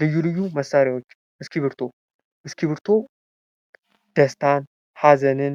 ልዩ ልዩ መሳሪያዎች፦ እስክብሪቶ፦ እስክብሪቶ ደስታን፣ ሃዘንን፣